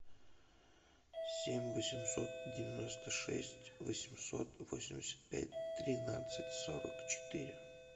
семь восемьсот девяносто шесть восемьсот восемьдесят пять тринадцать сорок четыре